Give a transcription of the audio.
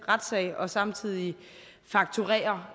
retssag og samtidig fakturere